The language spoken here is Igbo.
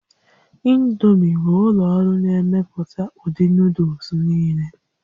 Indomi bụ ụlọ ọrụ na-emepụta ụdị nuuduls niile